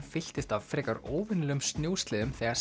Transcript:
fylltist af frekar óvenjulegum snjósleðum þegar